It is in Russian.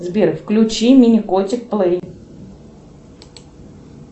сбер включи мини котик плей